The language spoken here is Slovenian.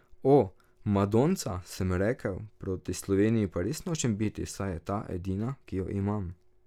O, madonca, sem si rekel, proti Sloveniji pa res nočem biti, saj je ta edina, ki jo imam.